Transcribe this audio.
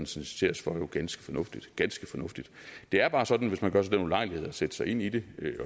citeres for jo ganske fornuftigt ganske fornuftigt det er bare sådan hvis man gør sig den ulejlighed at sætte sig ind i det